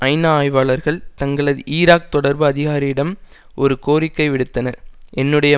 ஐநா ஆய்வாளர்கள் தங்களது ஈராக் தொடர்பு அதிகாரியிடம் ஒரு கோரிக்கை விடுத்தனர் என்னுடைய